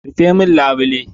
Rufe min labule!